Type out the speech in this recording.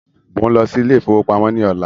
Mó ń lọ sí ilé ìfọwọ́pamó ní ọ̀lá.